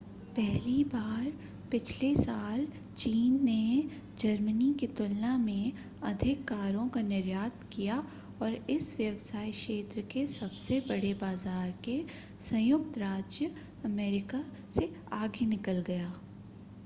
पहली बार पिछले साल चीन ने जर्मनी की तुलना में अधिक कारों का निर्यात किया और इस व्यवसाय क्षेत्र के सबसे बड़े बाजार के संयुक्त राज्य अमेरिका से आगे निकल गया